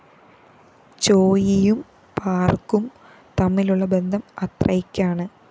ചോയ്‌യും പാര്‍കും തമ്മിലുള്ള ബന്ധം അത്രയ്ക്കാണ്